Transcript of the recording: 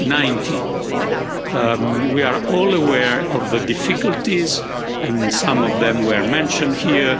of 2019. We are all aware of the difficulties and some of them were mentioned here.